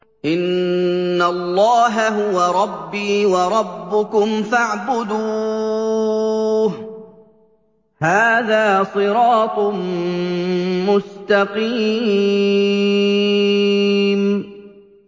إِنَّ اللَّهَ هُوَ رَبِّي وَرَبُّكُمْ فَاعْبُدُوهُ ۚ هَٰذَا صِرَاطٌ مُّسْتَقِيمٌ